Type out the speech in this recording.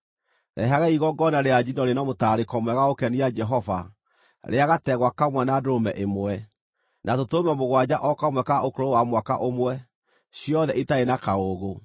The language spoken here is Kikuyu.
Rehagai igongona rĩa njino rĩna mũtararĩko mwega wa gũkenia Jehova rĩa gategwa kamwe na ndũrũme ĩmwe, na tũtũrũme mũgwanja o kamwe ka ũkũrũ wa mwaka ũmwe, ciothe itarĩ na kaũũgũ.